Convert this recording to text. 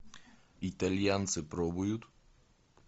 итальянцы пробуют